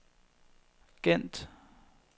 Gent